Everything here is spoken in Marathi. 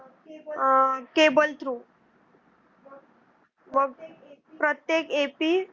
आह cable through. मग प्रत्येक ap.